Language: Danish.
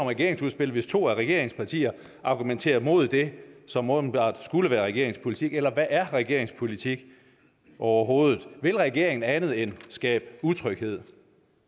regeringsudspil hvis to af regeringspartierne argumenterer mod det som åbenbart skulle være regeringens politik eller hvad er regeringens politik overhovedet vil regeringen andet end skabe utryghed